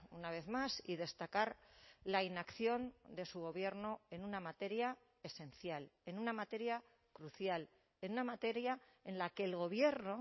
una vez más y destacar la inacción de su gobierno en una materia esencial en una materia crucial en una materia en la que el gobierno